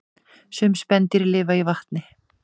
Sum spendýr lifa í vatni